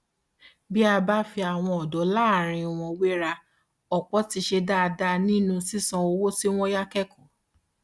bí a bá fi àwọn ọdọ láàárín wọn wéra ọpọ ti ṣe dáadáa nínú sísanwó owó tí wọn yá kẹkọọ